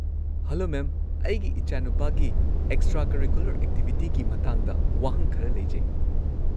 Hello, ma'am, ꯑꯩꯒꯤ ꯏꯆꯥꯅꯨꯄꯥꯒꯤ extracurricular ꯑꯦꯛꯇꯤꯚꯤꯇꯤꯒꯤ ꯃꯇꯥꯡꯗ ꯋꯥꯍꯪ ꯈꯔ ꯂꯩꯖꯩ꯫